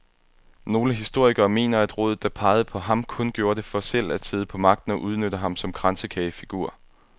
Nogle historikere mener, at rådet, der pegede på ham, kun gjorde det for selv at sidde på magten og udnytte ham som kransekagefigur.